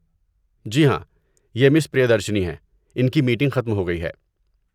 جی ہاں، یہ مس پریادرشنی ہیں، ان کی میٹنگ ختم ہو گئی ہے۔